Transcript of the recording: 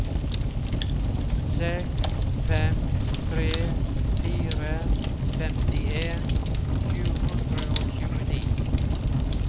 seks fem tre fire femtien sju hundre og tjueni